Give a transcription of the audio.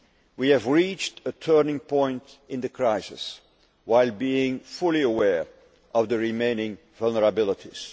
work. We have reached a turning point in the crisis while being fully aware of the remaining vulnerabilities.